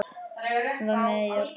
Hann var með í öllu.